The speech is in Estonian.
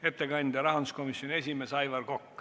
Ettekandjaks on rahanduskomisjoni esimees Aivar Kokk.